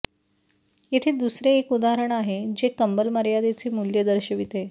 येथे दुसरे एक उदाहरण आहे जे कंबल मर्यादेचे मूल्य दर्शविते